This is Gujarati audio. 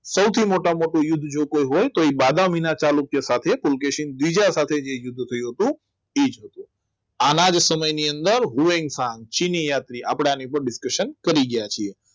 સૌથી મોટામાં મોટી યુદ્ધ જો કોઈ હોય તો એ બદામીના ચાલુ કે સાથે ફૂલકેશન બીજા સાથે યુદ્ધ થયું હતું એ છે આના જ સમયની અંદર ચીની યાત્રી આપણને કરી ગયા છે